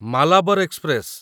Malabar express